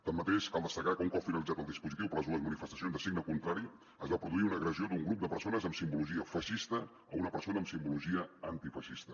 tanmateix cal destacar que un cop finalitzat el dispositiu per les dues manifestacions de signe contrari es va produir una agressió d’un grup de persones amb simbologia feixista a una persona amb simbologia antifeixista